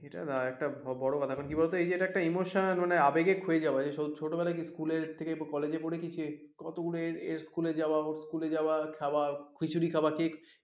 সেটা নয় একটা বড় ব্যাপার কি বলতো এইযে দেখো এই একটা ইমোশন মানে একটা আবেগে খয়ে যাওয়া ছোটো বেলায় কি স্কুল এ থেকে বা কলেজ এ পড়েছি এই কতগুলো স্কুল এ যাওয়া ওর স্কুল এ যাওয়া খাওয়া খিচুড়ি খাওয়া কে,